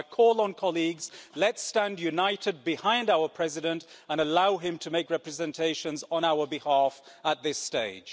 So, I call on colleagues let's stand united behind our President and allow him to make representations on our behalf at this stage.